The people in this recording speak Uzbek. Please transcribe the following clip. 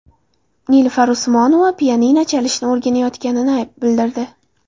Nilufar Usmonova pianino chalishni o‘rganayotganini bildirdi.